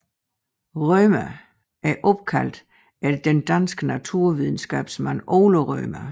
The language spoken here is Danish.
Rømer er opkaldt efter den danske naturvidenskabsmand Ole Rømer